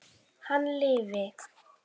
Hann lifi!